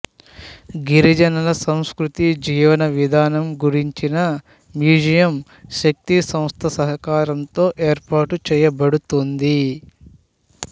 గిరిజనుల సంస్కృతిజీవన విధానం గురించిన మ్యూజియం శక్తి సంస్థ సహకారంతో ఏర్పాటు చేయబడుతోంది